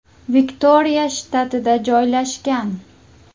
Viktoriya shtatida joylashgan.